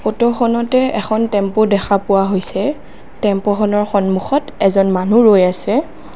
ফটোখনতে এখন টেম্পু দেখা পোৱা হৈছে টেম্পুখনৰ সম্মুখত এজন মানুহ ৰৈ আছে।